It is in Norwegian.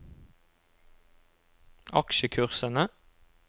aksjekursene